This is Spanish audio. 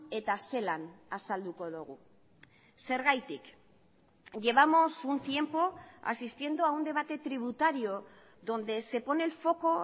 eta zelan azalduko dugu zergatik llevamos un tiempo asistiendo a un debate tributario donde se pone el foco